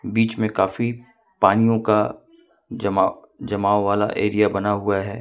बीच में काफी पानियों का जमा जमाव वाला एरिया बना हुआ है।